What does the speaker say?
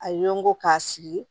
A ye n ko k'a sigi